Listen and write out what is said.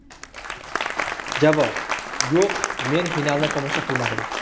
Javob: Yo‘q, men finalni tomosha qilmadim.